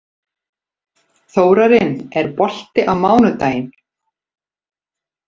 Þórarinn, er bolti á mánudaginn?